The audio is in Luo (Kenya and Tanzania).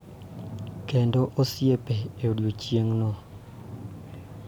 Kendo osiepe e odiechieng�no.